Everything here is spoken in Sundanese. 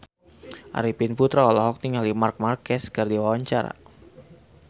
Arifin Putra olohok ningali Marc Marquez keur diwawancara